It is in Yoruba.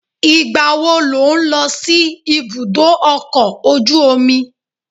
Ìgbàwo ló ń lọ sí ibùdó ọkọ̀ ojú omi?